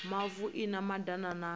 mavu i na madana na